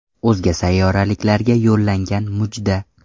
O‘zga sayyoraliklarga yo‘llangan mujda.